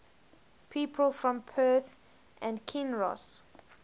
people from perth and kinross